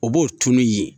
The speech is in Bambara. O b'o tunun yen